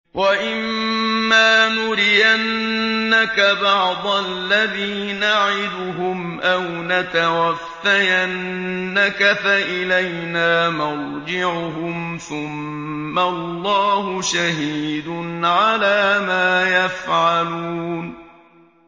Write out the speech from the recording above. وَإِمَّا نُرِيَنَّكَ بَعْضَ الَّذِي نَعِدُهُمْ أَوْ نَتَوَفَّيَنَّكَ فَإِلَيْنَا مَرْجِعُهُمْ ثُمَّ اللَّهُ شَهِيدٌ عَلَىٰ مَا يَفْعَلُونَ